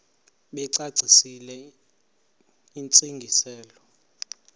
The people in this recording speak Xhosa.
bacacisele intsi ngiselo